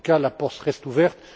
En tout cas, la porte reste